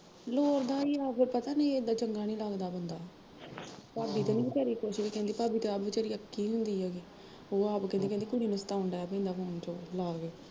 ਲੋਰਦਾ ਈ ਆ ਫਿਰ ਪਤਾ ਨੀ ਏਦਾਂ ਚੰਗਾ ਨੀ ਲੱਗਦਾ ਬੰਦਾ ਹਮ ਭਾਬੀ ਤੇ ਨੀ ਵੀਚਾਰੀ ਕੁਸ਼ ਵੀ ਕਹਿੰਦੀ, ਭਾਬੀ ਤਾਂ ਆਪ ਵੀਚਾਰੀ ਅੱਕੀ ਹੁੰਦੀ ਐਗੀ, ਉਹ ਆਪ ਕਹਿੰਦੀ ਉਹ ਕੁੜੀ ਨੂੰ ਸਤਾਉਣ ਡਹਿ ਪੈਂਦਾ phone ਚ ਉਹ ਲਾ ਕੇ